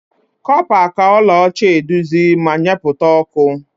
Copa ka ọla ọcha eduzi ma nyepukwa ọkụ.